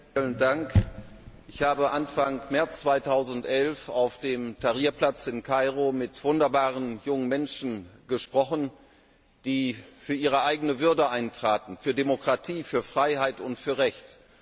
Herr Präsident! Ich habe Anfang März 2011 auf dem Tahrir Platz in Kairo mit wunderbaren jungen Menschen gesprochen, die für ihre eigene Würde eintraten, für Demokratie, für Freiheit und für Recht